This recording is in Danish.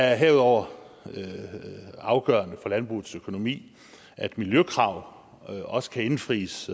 er herudover afgørende for landbrugets økonomi at miljøkrav også kan indfries